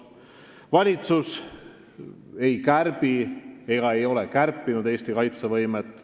" Valitsus ei kärbi ega ole kärpinud Eesti kaitsevõimet.